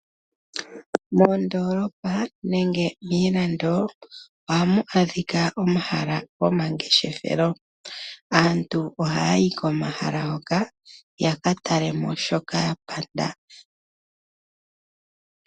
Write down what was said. Moondolopa nenge miilando ohamu adhika omahala gomangeshefelo, aantu ohaya yi komahala ngoka ya ka tale shoka ya panda.